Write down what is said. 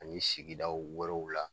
Ani sigidaw wolonwula